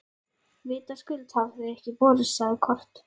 Vitaskuld hafa þau ekki borist, sagði Kort.